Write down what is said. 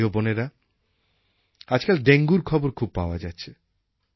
ভাই ও বোনেরা আজকাল ডেঙ্গুর খবর খুব পাওয়া যাচ্ছে